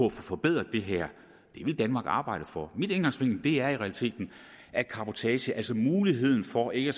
at få forbedret det her vil danmark arbejde for at udnytte min indgangsvinkel er i realiteten at cabotage altså muligheden for ikke